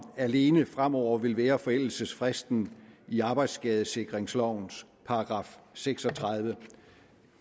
alene fremover vil være forældelsesfristen i arbejdsskadesikringslovens § seks og tredive